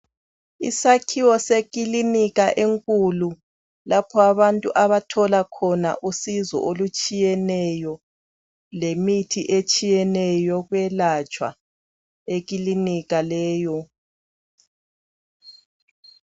Isakhiwo sekilinika enkulu lapha abantu abathola khona usizo olutshiyeneyo lemithi etshiyeneyo yokwelatshwa ekilinika leyo.